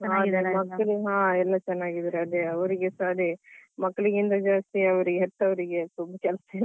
ಹ ಚೆನ್ನಾಗಿದ್ದಾರೆ ಅದೇ ಅವ್ರಿಗೆಸ ಅದೇ ಮಕ್ಕಳಿಗಿಂತ ಜಾಸ್ತಿ ಅವ್ರಿಗೆ ಹೆತ್ತವರಿಗೆ.